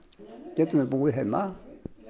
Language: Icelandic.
getum við búið heima